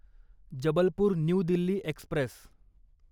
Jabalpur new Delhi Express